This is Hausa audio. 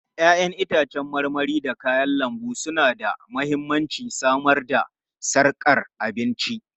Ya'yan itãcen marmari da kayan lambu suna da mahimmancin samar da sarkar abinci.